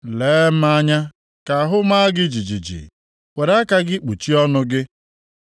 Lee m anya ka ahụ maa gị jijiji; were aka gị kpuchie ọnụ gị.